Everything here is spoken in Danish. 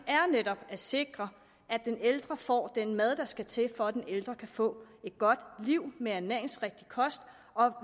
netop at sikre at den ældre får den mad der skal til for at den ældre kan få et godt liv med ernæringsrigtig kost og